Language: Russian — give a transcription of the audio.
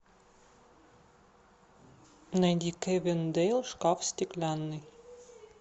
найди кэвин дэйл шкаф стеклянный